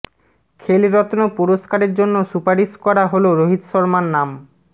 খেলরত্ন পুরষ্কারের জন্য সুপারিশ করা হল রোহিত শর্মার নাম